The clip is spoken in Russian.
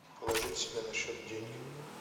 положить себе на счет деньги